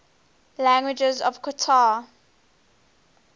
languages of qatar